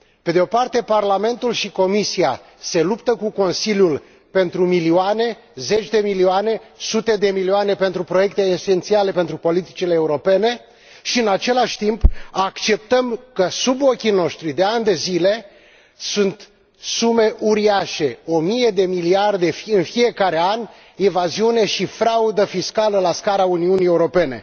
Pe de o parte Parlamentul și Comisia se luptă cu Consiliul pentru milioane, zeci de milioane, sute de milioane de euro pentru proiecte esențiale pentru politicile europene și, în același timp, acceptăm că, sub ochii noștri, de ani de zile, sunt sume uriașe, o mie de miliarde în fiecare an, evaziune și fraudă fiscală la scara Uniunii Europene.